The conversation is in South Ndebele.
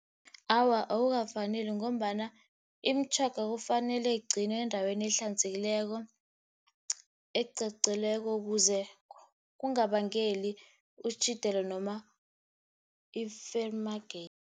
Awa, akukafaneli ngombana imitjhoga kufanele igcinwe endaweni ehlanzekileko, ukuze kungabangeli noma ifeyilimageke.